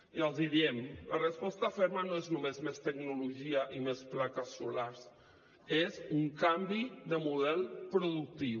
i els hi diem la resposta ferma no és només més tecnologia i més plaques solars és un canvi de model productiu